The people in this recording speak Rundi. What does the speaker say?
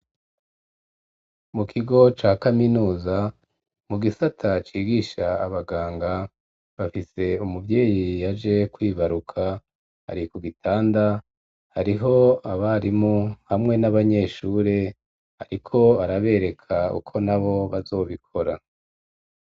Mu kigo ca kaminuza mu gisata cigisha abaganga bafise umuvyeyi yaje kwibaruka ari ku gitanda hariho abarimu hamwe n'abanyeshuri bariko arabereka uko nabo bazobikora.